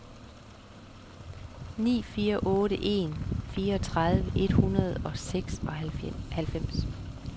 ni fire otte en fireogtredive et hundrede og seksoghalvfems